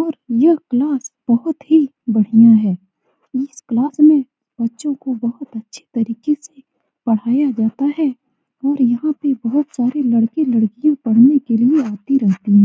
और ये क्लास बहुत ही बढ़िया है इस क्लास में बच्चो को बहुत ही अच्छी तरीके से पढ़ाया जाता है और यहाँ पे बहुत सारे लड़के-लड़की पढ़ने के लिए आती रहती है।